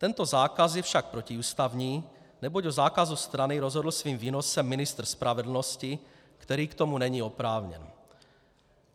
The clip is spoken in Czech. Tento zákaz je však protiústavní, neboť o zákazu stranu rozhodl svým výnosem ministr spravedlnosti, který k tomu není oprávněn.